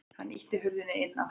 Hann ýtti hurðinni inn aftur.